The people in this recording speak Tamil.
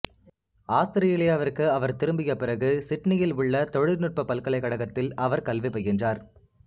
ஆஸ்திரேலியாவிற்கு அவர் திரும்பிய பிறகு சிட்னியில் உள்ள தொழிற்நுட்பப் பல்கலைக்கழகத்தில் அவர் கல்வி பயின்றார்